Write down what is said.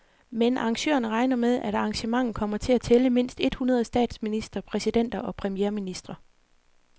Men arrangørerne regner med, at arrangementet kommer til at tælle mindst et hundrede statsministre, præsidenter og premierministre.